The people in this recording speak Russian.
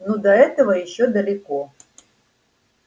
ну до этого ещё далеко